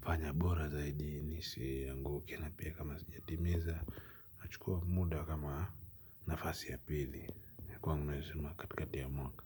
fanya bora zaidi nisianguke na pia kama sijatimiza nachukua muda kama nafasi ya pili kwangu naeza sema katikati ya mwaka.